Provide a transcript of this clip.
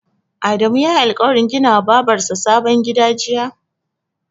Adamu yayi alƙawarin gina wa Babar sa sabon gida jiya?